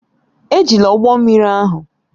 Ejila ụgbọ mmiri ahụ!